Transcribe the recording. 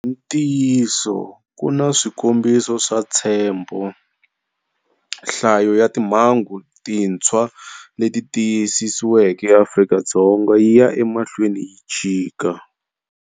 Hi ntiyiso, ku na swikombiso swa ntshembho. Nhlayo ya timhangu tintshwa leti tiyisisiweke eAfrika-Dzonga yi ya emahlweni yi chika.